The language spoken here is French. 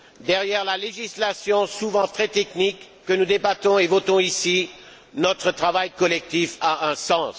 derrière la législation souvent très technique que nous débattons et votons ici, notre travail collectif a un sens.